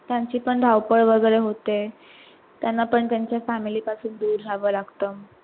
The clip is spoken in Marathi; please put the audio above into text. त्यांची पण धावपळ वगैरे होते, त्यांना पण family पासून दूर राहाव लागत.